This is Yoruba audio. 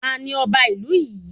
Tanu ọba ìlú yin?